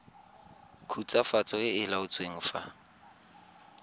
khutswafatso e e laotsweng fa